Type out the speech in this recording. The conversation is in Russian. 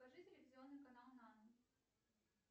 покажи телевизионный канал нано